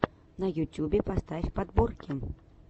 на ютюбе поставь подборки